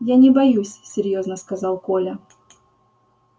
я не боюсь серьёзно сказал коля